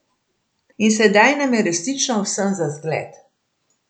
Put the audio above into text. In sedaj nam je resnično vsem za zgled.